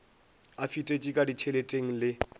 a fetetše ka ditšheleteng le